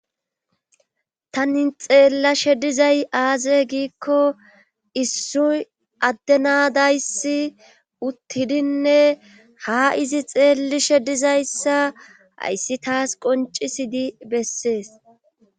Tani xeelashe dizay aazee giiko issoy adde na dayssi uttidi uttidinne ha izi xeelishe didayssa hayssi tas qonccissidi besees.